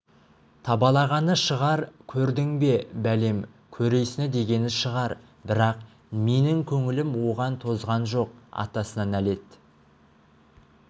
табалағаны шығар көрдің бе бәлем көресіні дегені шығар бірақ менің көңілім оған тозған жоқ атасына нәлет